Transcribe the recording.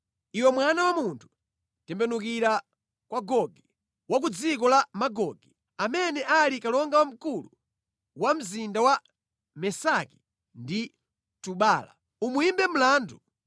“Iwe mwana wa munthu, tembenukira kwa Gogi, wa ku dziko la Magogi, amene ali kalonga wamkulu wa mzinda wa Mesaki ndi Tubala. Umuyimbe mlandu.